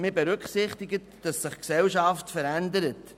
Man berücksichtigt vielmehr, dass sich die Gesellschaft verändert.